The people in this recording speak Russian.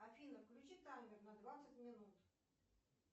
афина включи таймер на двадцать минут